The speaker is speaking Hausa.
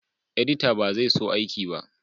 Edita ba zai so aiki ba